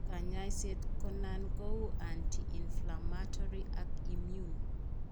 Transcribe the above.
Kanyasiet ko nan ko uu anti inflammatory ak immune